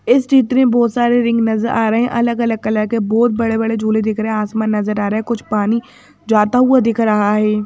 इस चित्र में बहोत सारे रिंग नजर आ रहे हैं अलग अलग कलर के बहोत बड़े बड़े झूले देख रहे हैं आसमान नजर आ रहे हैं कुछ पानी जो आता हुआ दिख रहा है।